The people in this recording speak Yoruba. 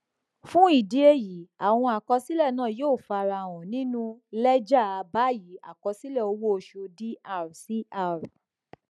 fún ìdí èyí àwọn àkọsílẹ náà yóò farahàn nínú lẹjà báyìí àkọsílẹ owó oṣù dr cr